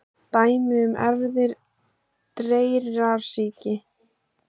Dæmi um erfðir dreyrasýki: